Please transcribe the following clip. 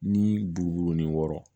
Ni bugu ni wɔrɔn